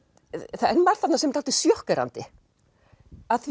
það er margt þarna sem er dálítið sjokkerandi af því